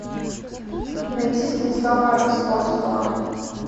найти станислава ростоцкого